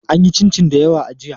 An yi cincin dayawa jiya.